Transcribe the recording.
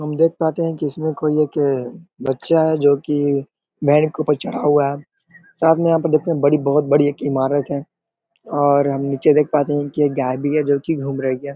हम देख पाते है की इसमें कोई एक बच्चा है जो की बैंच के ऊपर चढ़ा हुआ है साथ में यहाँ पे देखते है बड़ी बहोत बड़ी ईमारत है और हम नीचे देख पाते है की एक गाय भी है जो की घूम रही है।